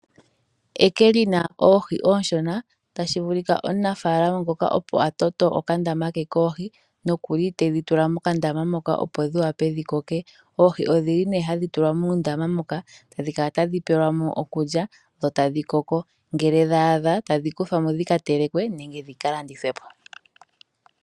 Eke lina oohi oonshona, tashi vulika omunafaalama ngoka opo a toto okandama ke koohi na okuli tedhi tula mokandama moka opo dhi wape dhikoke. Oohi odhili nee hadhi tulwa muundama moka etadhi kala tadhi pelwamo okulya dho tadhi koko, ngele dhaadha tadhi kuthwamo dhika telekwe nenge dhika landithwe po.